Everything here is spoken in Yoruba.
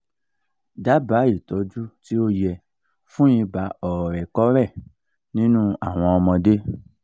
daba itoju ti o ye fun iba oorekore ninu awon omode